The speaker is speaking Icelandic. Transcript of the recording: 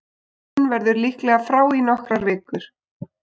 Allen verður líklega frá í nokkrar vikur.